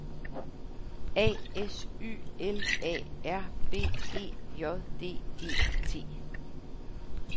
A S Y L A R B E J D E T